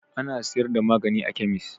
Ana siyar da magani a kemis.